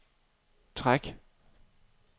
træk